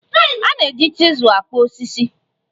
A na-eji chizul akpụ osisi